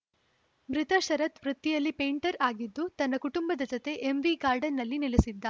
ಮೃತ ಶರತ್‌ ವೃತ್ತಿಯಲ್ಲಿ ಪೆಂಟರ್‌ ಆಗಿದ್ದು ತನ್ನ ಕುಟುಂಬದ ಜತೆ ಎಂವಿಗಾರ್ಡನ್‌ನಲ್ಲಿ ನೆಲೆಸಿದ್ದ